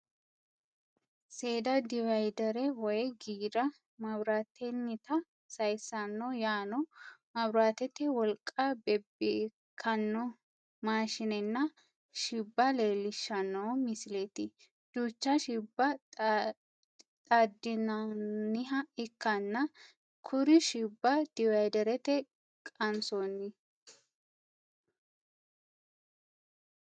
Seeda diviidere woyi giira maabiraatennita sayissanno yaano maabiraatete wolqa bebbewkkanno maashinenna. Shibba leellishshanno misileeti. Duucha shibba xaadinaoonniha ikkanna kuriuu shibba diviiderete qansoonni.